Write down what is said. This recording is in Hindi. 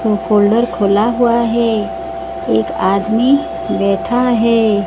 वो फोल्डर खुला हुआ है एक आदमी बेठा है।